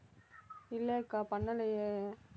இல்லக்கா பண்ணலையே